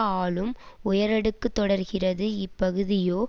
ஆளும் உயரடுக்கு தொடர்கிறது இப்பகுதியோ